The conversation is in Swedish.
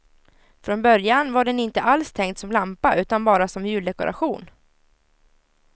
Från början var den inte alls tänkt som lampa utan bara som juldekoration.